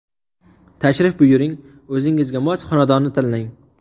Tashrif buyuring, o‘zingizga mos xonadonni tanlang!